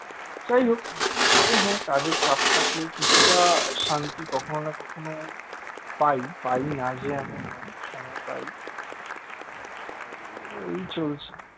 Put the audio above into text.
যাইহোক তবে হ্যাঁ কাজের চাপ থাকলে কিছুটা শান্তি কখনো না কখনো পাই পাই না যে এমন নয় সময় পাই তো এই চলছে